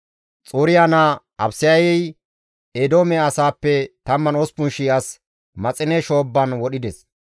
Xuriya naa Abisayey Eedoome asaappe 18,000 as Maxine Shoobban wodhides.